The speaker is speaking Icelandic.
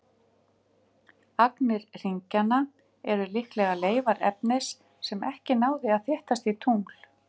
Agnir hringjanna eru líklega leifar efnis sem ekki náði að þéttast í tungl.